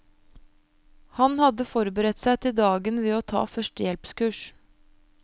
Han hadde forberedt seg til dagen ved å ta førstehjelpskurs.